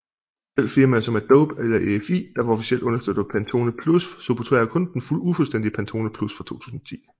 Selv firmaer som Adobe og EFI der officielt understøtter Pantone Plus supporterer kun den ufuldstændige Pantone Plus fra 2010